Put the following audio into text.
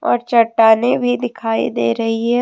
और चट्टानें भी दिखाई दे रही है।